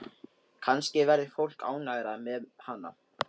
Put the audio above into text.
Kannski verður fólk ánægðara með hana.